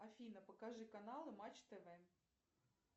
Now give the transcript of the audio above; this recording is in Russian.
афина покажи каналы матч тв